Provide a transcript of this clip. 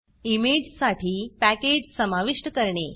इमेजसाठी package समाविष्ट करणे